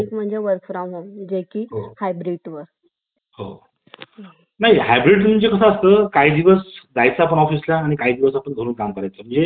आपल्या continue online राहीची गरज नाही किंवा गरज नाही आपण ते करता करता आपली घर ची काम आपण करू शकतो किंवा आपण गप्पा मारत-मारत काम करू शकतो office मदे जमत नाही हे